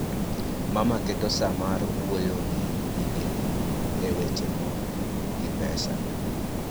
Mama keto sa mar wuoyo gi nyige e weche mon gi pesa